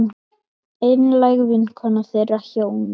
Einlæg vinkona þeirra hjóna.